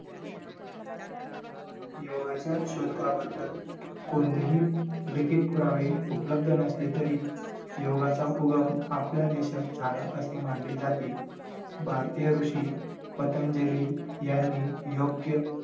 योगाच्या शतकाबद्दल कोणतेही लिखित पुरावे उपलब्ध नसले तरी योगाचा उगम आपल्या देशात झाला असे मानले जाते भारतीय ऋषी पतंजली यांनी योग्य